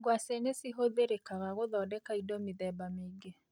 Ngwacĩ nĩcihũthĩrĩkaga gũthondeka indo mĩthemba mĩingĩ.